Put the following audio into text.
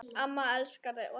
Amma elskar þig